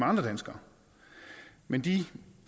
andre danskere men de